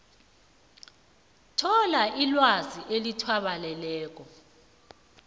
thola ilwazi elithabaleleko